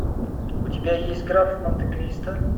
у тебя есть граф монте кристо